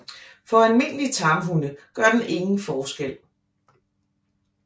For almindelige tamhunde gør den ingen forskel